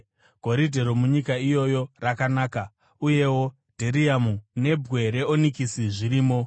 (Goridhe romunyika iyoyo rakanaka; uyewo dheriamu nebwe reonikisi zvirimo.)